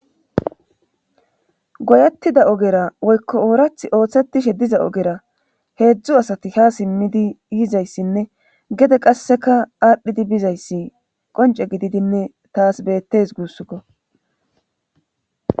goyettida ogera woykko ooratti oosethishe diza ogera heedzdzu asati haa simmidi yizayssinnegede qasseka aadhidi bizayssi qoncce gididinne taas beetes guussukko.